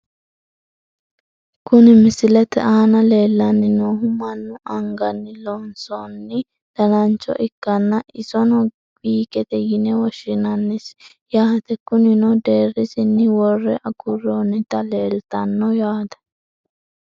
Kuni misilete aana leellanni noohu mannu anganni loonsoonni danancho ikkanna ,isono wiigete yine woshshinsnni yaate, kunino deerrisinni worre agurroonnita leeltanno yaate.